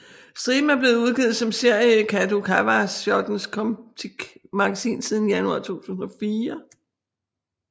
Striben er blevet udgivet som serie i Kadokawa Shotens Comptiq magasin siden januar 2004